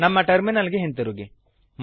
ನಮ್ಮ ಟರ್ಮಿನಲ್ ಗೆ ಹಿಂದಿರುಗಿ